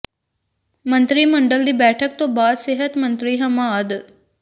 ਮੰਤਰੀ ਮੰਡਲ ਦੀ ਬੈਠਕ ਤੋਂ ਬਾਅਦ ਸਿਹਤ ਮੰਤਰੀ ਹਮਾਦ